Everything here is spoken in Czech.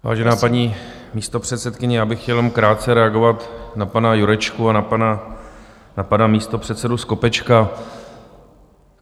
Vážená paní místopředsedkyně, já bych chtěl jenom krátce reagovat na pana Jurečku a na pana místopředsedu Skopečka.